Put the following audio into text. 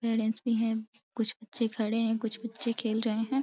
Parents भी है। कुछ बच्चे खड़े हैं कुछ बच्चे खेल रहे हैं।